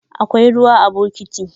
Akwai ruwa a bokiti.